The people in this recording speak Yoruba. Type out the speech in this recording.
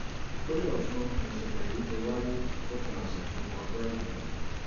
ìpínlẹ̀ ọ̀sùn nìṣẹ̀lẹ̀ yìí ti wáyé lópin ọ̀sẹ̀ tó kọjá yìí